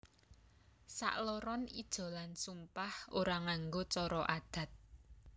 Sakloron ijolan sumpah ora nganggo cara adat